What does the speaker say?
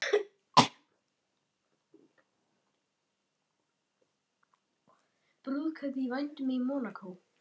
Brúðkaup í vændum í Mónakó